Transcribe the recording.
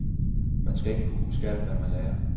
Man skal ikke kunne huske alt, hvad man lærer.